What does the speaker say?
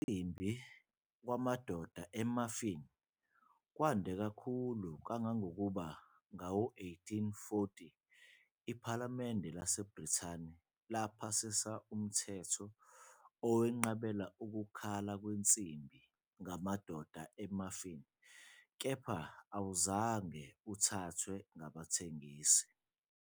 Ukukhala kwensimbi kwamadoda e-muffin kwande kakhulu kangangokuba ngawo-1840, iPhalamende laseBrithani laphasisa umthetho owenqabela ukukhala kwensimbi ngamadoda e-muffin, kepha awuzange uthathwe ngabathengisi.